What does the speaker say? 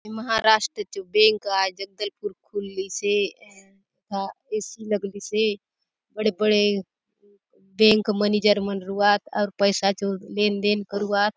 महाराष्ट्र चो बैंक आय जगदलपुर खुलली से एथा ए_सी लगली से बड़े - बड़े बैंक मनेजर मन रहुआत अउर पैसा चो लेन देन करुआत।